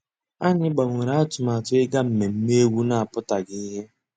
Ànyị́ gbànwèré àtụ̀màtụ́ ìgá mmèmè égwu ná-àpụ́tághị́ ìhè.